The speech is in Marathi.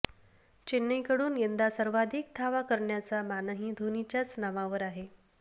चेन्नईकडून यंदा सर्वाधिक धावा करण्याचा मानही धोनीच्याच नावावर आहे